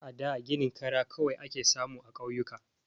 A da ginin kara kawai ake samu a ƙauyuka.